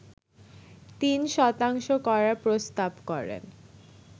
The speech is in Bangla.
৩ শতাংশ করার প্রস্তাব করেন